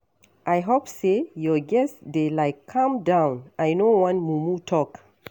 I hope say your guests dey like calm down, I no wan mumu talk.